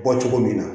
Bɔ cogo min na